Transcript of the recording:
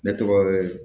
Ne tɔgɔ ye